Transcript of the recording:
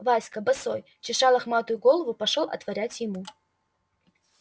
васька босой чеша лохматую голову пошёл отворять ему